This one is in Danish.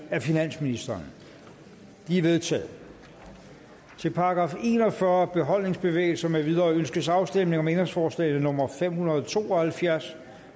af finansministeren de er vedtaget til § en og fyrre beholdningsbevægelser med videre ønskes afstemning om ændringsforslag nummer fem hundrede og to og halvfjerds